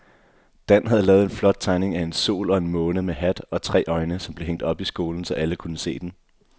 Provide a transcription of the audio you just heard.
Dan havde lavet en flot tegning af en sol og en måne med hat og tre øjne, som blev hængt op i skolen, så alle kunne se den.